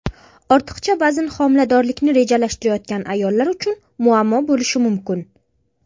Ortiqcha vazn homiladorlikni rejalashtirayotgan ayollar uchun muammo bo‘lishi mumkin.